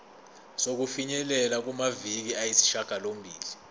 sokufinyelela kumaviki ayisishagalombili